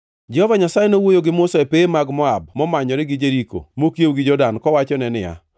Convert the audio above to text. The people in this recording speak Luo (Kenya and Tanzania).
Jehova Nyasaye nowuoyo gi Musa e pewe mag Moab momanyore gi Jeriko mokiewo gi Jordan kowachone niya,